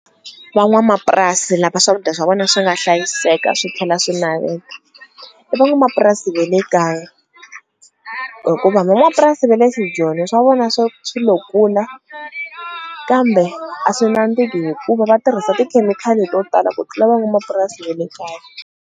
Van'wamapurasi lava swakudya swa vona swi nga hlayiseka swi tlhela swi i van'wamapurasi va le kaya hikuva van'wapurasi va le swijoni swa vona swo swi lo kula kambe a swi nandziki hikuva va tirhisa tikhemikhali to tala ku tlula van'wamapurasi va le kaya.